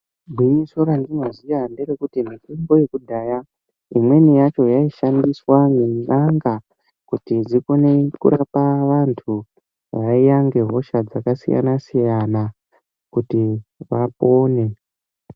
Gwinyiso randinoziya nderekuti mitombo yakudhaya, imweni yacho yaishandiswa ngen'anga, kuti dzikone kurapa vantu vaiya ngehosha dzakasiyana-siyana kuti vapone.